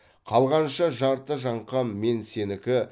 қалғанша жарты жаңқам мен сенікі